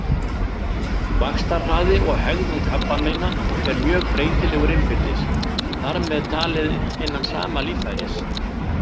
Vaxtarhraði og hegðun krabbameina er mjög breytilegur innbyrðis, þar með talið innan sama líffæris.